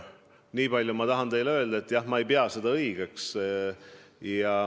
Nii palju ma tahan teile öelda, et jah, ma ei pea seda õigeks.